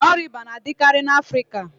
Ọria íbà na-adịkarị n'afrịka